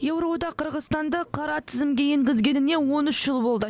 еуроодақ қырғызстанды қара тізімге енгізгеніне он үш жыл болды